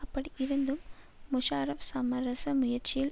அப்படி இருந்தும் முஷாரஃப் சமரச முயற்சியில்